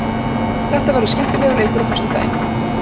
Þetta verður skemmtilegur leikur á föstudaginn.